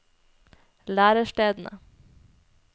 lærestedene